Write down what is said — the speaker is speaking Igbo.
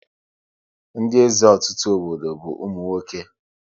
Ndị eze ọtụtụ obodo bụ ụmụ nwoke